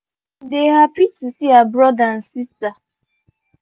she um dey happy to see her brother and sister